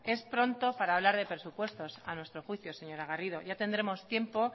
es pronto para hablar de presupuestos a nuestro juicio señora garrido ya tendremos tiempo